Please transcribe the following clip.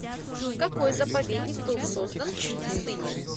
какой заповедник был создан в пустыне